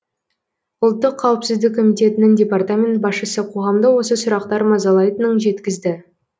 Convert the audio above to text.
ұлттық қауіпсіздік комитетінің департамент басшысы қоғамды осы сұрақтар мазалайтынын жеткізді